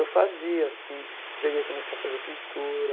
Eu fazia assim, já ia começar a fazer pintura,